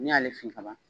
N'i y'ale fin ka ban